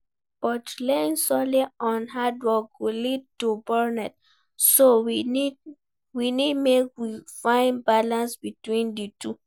But relying solely on hard work go lead to burnout, so we need make we find balance between di two.